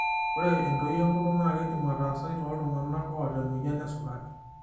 Ore entoi enkutuk naa keidim ataasai tooltung'ana oota emoyian esukari.